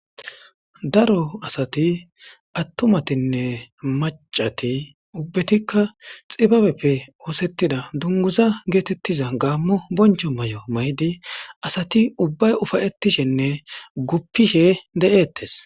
Daro asati attumatinne macati ubbetikka xibabeppe oosettida dunguza geetettiza gaammo boncho mayo mayidi asati ubbay ufayettishenne guppishe deettes.